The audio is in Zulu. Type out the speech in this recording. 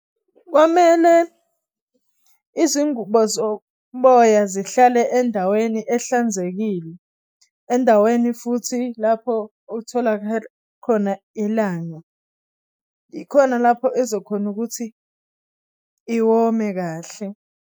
Kwamele izingubo zoboya zihlale endaweni ehlanzekile, endaweni futhi lapho otholakala khona ilanga ikhona lapho ezokhona ukuthi iwome kahle.